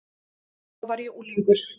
Þá var ég unglingur.